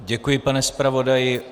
Děkuji, pane zpravodaji.